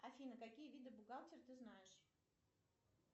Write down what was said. афина какие виды бухгалтер ты знаешь